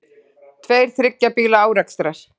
Tveir þriggja bíla árekstrar